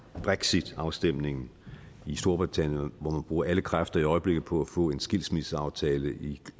er brexitafstemningen i storbritannien hvor man bruger alle kræfter i øjeblikket på at få en skilsmisseaftale i